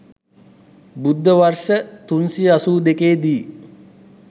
බුද්ධ වර්ෂ 382 දී